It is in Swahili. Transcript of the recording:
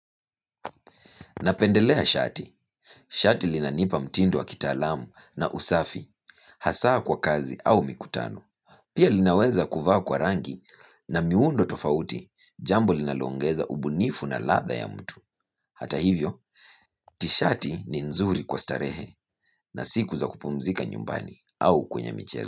Napendelea shati shati linanipa mtindo wa kitaalam na usafi. Hasa kwa kazi au mikutano. Pia linaweza kuvaa kwa rangi na miundo tofauti. Jambo linaloongeza ubunifu na ladha ya mtu. Hata hivyo tishati ni nzuri kwa starehe na siku za kupumzika nyumbani au kwenye michezo.